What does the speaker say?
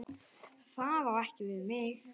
Það á ekki við mig.